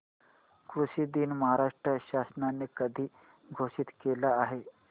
कृषि दिन महाराष्ट्र शासनाने कधी घोषित केला आहे